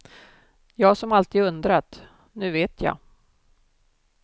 Jag som alltid undrat, nu vet jag.